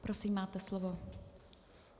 Prosím, máte slovo.